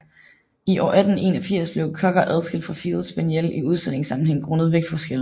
I år 1881 blev cocker adskilt fra field spaniel i udstillingssammenhæng grundet vægtforskellen